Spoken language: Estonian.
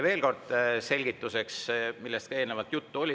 Veel kord selgituseks selle kohta, millest ka eelnevalt juttu oli.